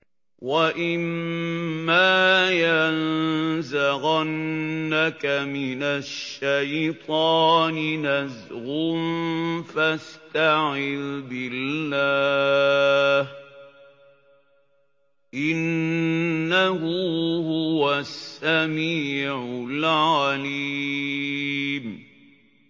وَإِمَّا يَنزَغَنَّكَ مِنَ الشَّيْطَانِ نَزْغٌ فَاسْتَعِذْ بِاللَّهِ ۖ إِنَّهُ هُوَ السَّمِيعُ الْعَلِيمُ